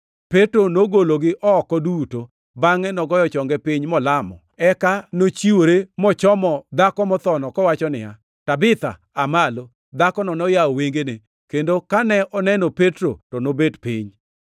Petro nogologi oko duto, bangʼe nogoyo chonge piny molamo. Eka nowichore mochomo dhako mothono, kowacho niya, “Tabitha, aa malo!” Dhakono noyawo wengene, kendo kane oneno Petro, to nobet piny.